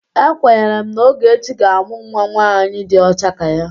Ekwenyere m na Ogechi ga-amụ nwa nwaanyị dị ọcha ka ya.